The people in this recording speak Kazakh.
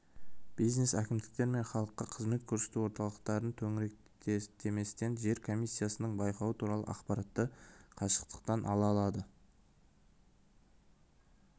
бизнес әкімдіктер мен халыққа қызмет көрсету орталықтарын төңіректеместен жер комиссиясының байқауы туралы ақпаратты қашықтықтан ала алады